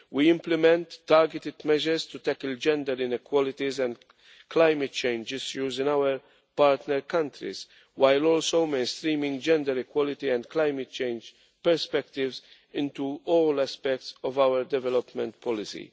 We implement targeted measures to tackle gender inequalities and climate change issues in our partner countries, while also mainstreaming gender equality and climate change perspectives into all aspects of our development policy.